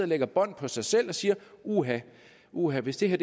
lægger bånd på sig selv og siger uha uha hvis det her